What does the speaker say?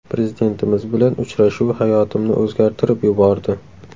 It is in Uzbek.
Prezidentimiz bilan uchrashuv hayotimni o‘zgartirib yubordi.